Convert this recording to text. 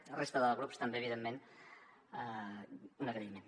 a la resta de grups també evidentment un agraïment